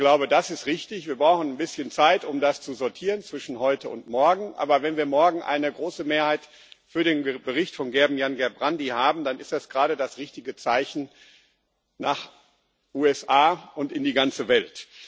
Ich glaube, das ist richtig, wir brauchen ein bisschen Zeit, um das zwischen heute und morgen zu sortieren, aber wenn wir morgen eine große Mehrheit für den Bericht von Gerben Jan Gerbrandy haben, dann ist das gerade das richtige Zeichen in Richtung USA und in die ganze Welt.